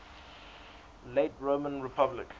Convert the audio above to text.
late roman republic